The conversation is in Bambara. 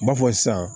N b'a fɔ sisan